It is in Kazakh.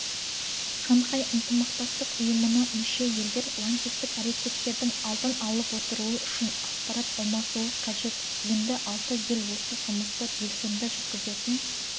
шанхай ынтымақтастық ұйымына мүше елдер лаңкестік әрекеттердің алдын алып отыруы үшін ақпарат алмасуы қажет енді алты ел осы жұмысты белсенді жүргізетін